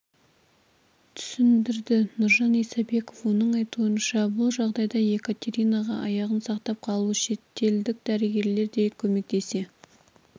түсіндірді нұржан исабеков оның айтуынша бұл жағдайда екатеринаға аяғын сақтап қалу шетелдік дәрігерлер де көмектесе